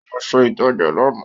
Ó lọ ṣe ìtajà lánàá